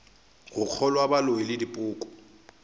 go kgolwa boloi le dipoko